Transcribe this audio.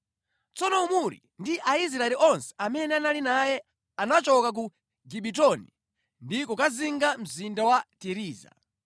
Tsono Omuri ndi Aisraeli onse amene anali naye anachoka ku Gibetoni ndi kukazinga Mzinda wa Tiriza.